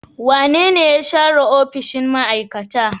Wanene ya share opishiy ma'aikata?